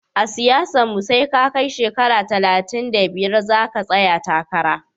A siyasanke SE ka kai shekara talatin da biyar zaka tsaya takara